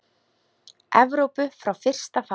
Evrópu frá fyrsta fari.